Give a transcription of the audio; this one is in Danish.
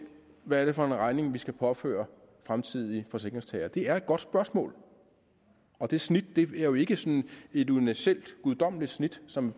hvad det er for en regning vi skal påføre fremtidige forsikringstagere det er et godt spørgsmål og det snit er jo formentlig ikke sådan et universelt guddommeligt snit som